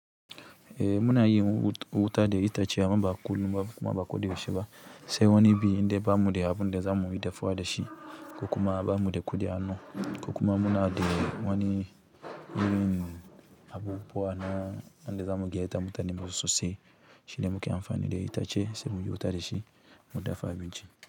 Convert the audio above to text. Eh muna yi wuta da itace, amma ba kullum kuma ba koda yaushe ba. Sai wani biyu inda ba mu de abu na zamu yi dafuwa da shi, ko kuma ba mu de kuɗi a hanu, ko kuma muna da wani irin abubuwa wanda zamu gayyata mutane masu sosai. Shine muke amfani da itace sai mu yi wuta da shi, mu dafa abinci.